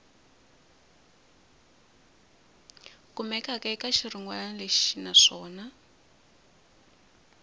kumekaka eka xirungulwana lexi naswona